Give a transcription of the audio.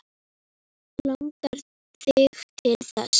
Langar þig til þess?